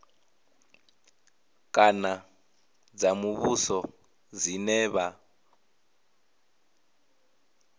kana dza muvhuso dzine vha